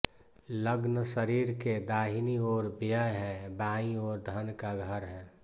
लग्न शरीर के दाहिनी ओर व्यय है बाईं ओर धन का घर है